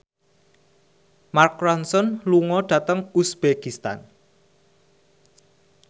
Mark Ronson lunga dhateng uzbekistan